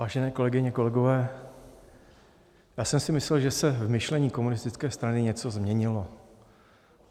Vážené kolegyně, kolegové, já jsem si myslel, že se v myšlení Komunistické strany něco změnilo.